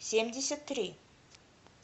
семьдесят три